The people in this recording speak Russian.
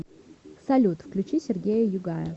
салют включи сергея югая